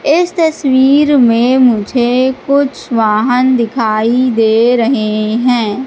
इस तस्वीर में मुझे कुछ वाहन दिखाई दे रहे हैं।